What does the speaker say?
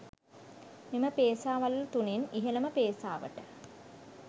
මෙම පේසා වළලු තුනෙන් ඉහළම පේසාවට